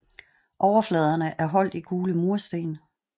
Overfladerne er holdt i gule mursten